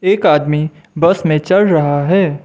एक आदमी बस में चढ़ रहा है।